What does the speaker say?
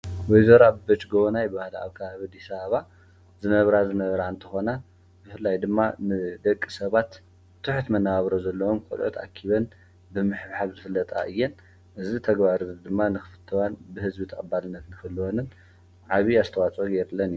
ወይዘሮ ኣበበች ገወናይ ብባህደ ኣብ ከባቢ ኣዲስ ኣበባ ዝነብራ ዝነብራ እንተኾና ብፍላይ ድማ ምስደቂ ሰባት ትሕት መነባብሮ ዘለዎን ቆልዑት ኣኪበን ብምሕብሓብ ዝፍለጣ እየን እዚ ተግባር ድማ ንኽፍትወን ብህዝቢ ተቀባልነት ንክህልወንን ዓብይ ኣስተዋፅኦ የድለን እዩ